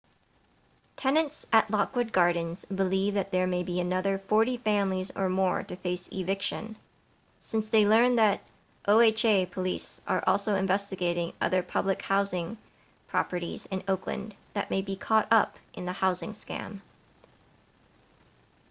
tenants at lockwood gardens believe that there may be another 40 families or more to face eviction since they learned that oha police are also investigating other public housing properties in oakland that may be caught up in the housing scam